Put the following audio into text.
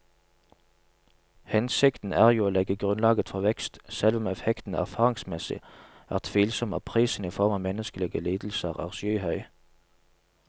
Hensikten er jo å legge grunnlaget for vekst, selv om effekten erfaringsmessig er tvilsom og prisen i form av menneskelige lidelser er skyhøy.